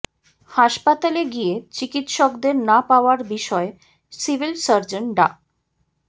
হাসপাতালে গিয়ে চিকিৎসকদের না পাওয়ার বিষয়ে সিভিল সার্জন ডা